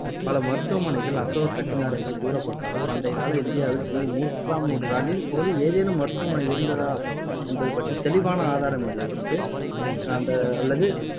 பல மருத்துவமனைகள் அசோகர் கட்டினார் என்று கூறப்பட்டாலும், பண்டைக்கால இந்தியாவில் கி மு மூன்றாம் நூற்றாண்டின் போது ஏதேனும் மருத்துவமனை இருந்ததா என்பது பற்றித் தெளிவான ஆதாரம் இல்லை என்று அந்த அல்லது.